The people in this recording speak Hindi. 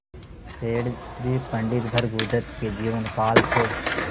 सेठ जी पंडित भृगुदत्त के जीवन काल से